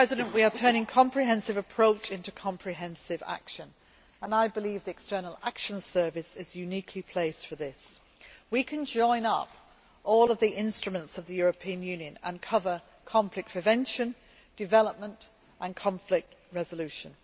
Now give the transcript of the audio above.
We are turning a comprehensive approach into comprehensive action and I believe the External Action Service is uniquely placed for this. We can join up all of the instruments of the European Union and cover conflict prevention, development and conflict resolution.